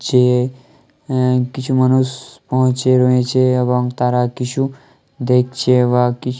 যে এহ কিছু মানুষ পৌঁছে রয়েছে এবং তারা কিছু দেখছে বা কি --